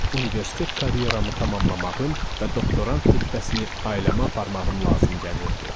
Universitet karyeramı tamamlamağım və doktorant rütbəsini almağım lazım gəlirdi.